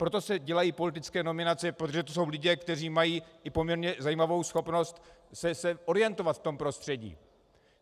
Proto se dělají politické nominace, protože to jsou lidé, kteří mají i poměrně zajímavou schopnost se orientovat v tom prostředí.